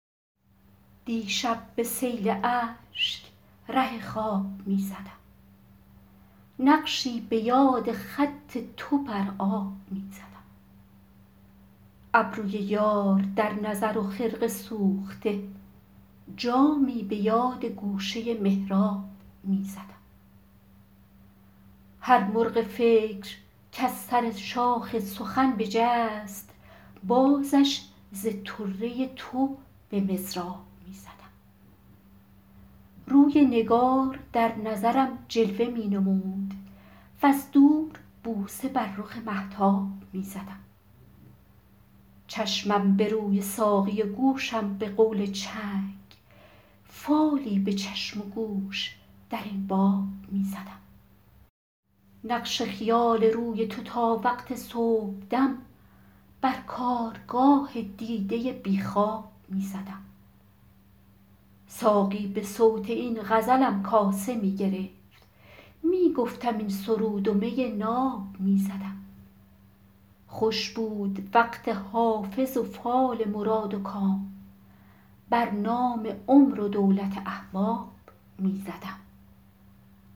دیشب به سیل اشک ره خواب می زدم نقشی به یاد خط تو بر آب می زدم ابروی یار در نظر و خرقه سوخته جامی به یاد گوشه محراب می زدم هر مرغ فکر کز سر شاخ سخن بجست بازش ز طره تو به مضراب می زدم روی نگار در نظرم جلوه می نمود وز دور بوسه بر رخ مهتاب می زدم چشمم به روی ساقی و گوشم به قول چنگ فالی به چشم و گوش در این باب می زدم نقش خیال روی تو تا وقت صبحدم بر کارگاه دیده بی خواب می زدم ساقی به صوت این غزلم کاسه می گرفت می گفتم این سرود و می ناب می زدم خوش بود وقت حافظ و فال مراد و کام بر نام عمر و دولت احباب می زدم